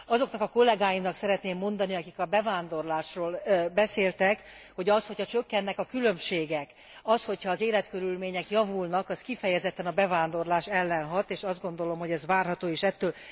Azoknak a kollegáimnak szeretném mondani, akik a bevándorlásról beszéltek, hogy mégiscsak az, hogyha csökkennek a különbségek, az, hogyha az életkörülmények javulnak, az kifejezetten a bevándorlás ellen hat és azt gondolom, hogy ez várható is ettől.